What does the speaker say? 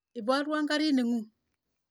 Iporwon karit ng'ung'.